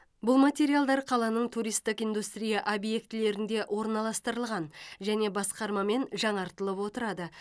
бұл материалдар қаланың туристік индустрия объектілерінде орналастырылған және басқармамен жаңартылып отырады